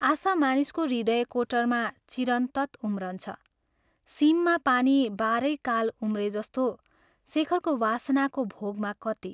आशा मानिसको हृदयकोटरमा चिरन्तत उम्रन्छ सीममा पानी बाह्रै काल उम्रे जस्तो शेखरको वासनाको भोगमा कति।